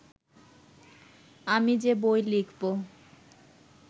আমি যে বই লিখব